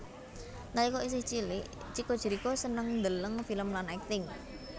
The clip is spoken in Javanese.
Nalika isih cilik Chico Jericho seneng ndeleng film lan akting